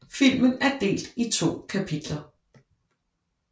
Filmen er delt i to kapitler